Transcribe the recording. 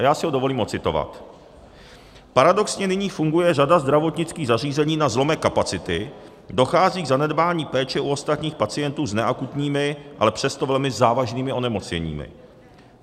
A já si ho dovolím odcitovat: "Paradoxně nyní funguje řada zdravotnických zařízení na zlomek kapacity, dochází k zanedbání péče u ostatních pacientů s neakutními, ale přesto velmi závažnými onemocněními.